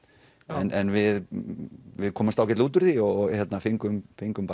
en við við komumst ágætlega út úr því og fengum fengum